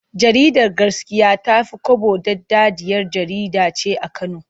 Jaridar Gaskiya ta fi kwabo daɗaɗɗiyar jkjarida ce a Kano.